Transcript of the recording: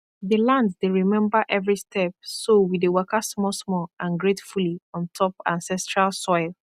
the land dey remember every step so we dey waka small small and gratefully on top ancestral soil